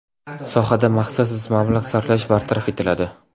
Sohada maqsadsiz mablag‘ sarflash bartaraf etiladi.